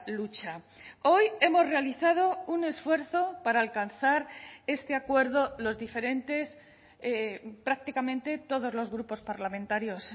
lucha hoy hemos realizado un esfuerzo para alcanzar este acuerdo los diferentes prácticamente todos los grupos parlamentarios